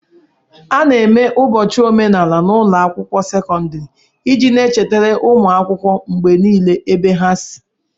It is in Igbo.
A na-eme ụbọchị omenala n'ụlọ akwụkwọ sekọndrị iji na-echetara ụmụ akwụkwọ mgbe niile ebe ha si